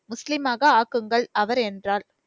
முஸ்லிமாக ஆக்குங்கள் அவர் என்றார்.